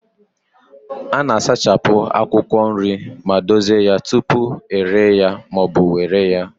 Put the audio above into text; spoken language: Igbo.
A na-asachapụ akwụkwọ nri ma dozie ya tupu ere ya ma ọ bụ were ya.